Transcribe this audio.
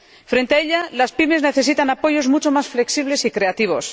Frente a ella, las PYME necesitan apoyos mucho más flexibles y creativos.